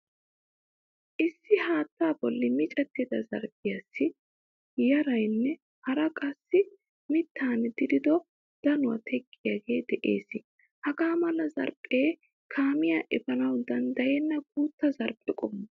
Issi haattaa bolli micettida zarphphiyasi yaarane haaraa qassi miittan dirido danuwaa teqqiyaage de'ees. Hagaa mala zarphphe kaamiyaaefanawu danddayenna guutta zarphphe qommo.